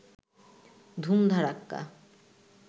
ধুম ধাড়াক্কা